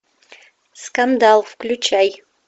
скандал включай